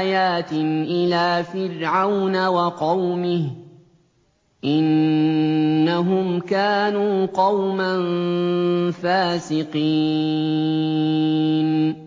آيَاتٍ إِلَىٰ فِرْعَوْنَ وَقَوْمِهِ ۚ إِنَّهُمْ كَانُوا قَوْمًا فَاسِقِينَ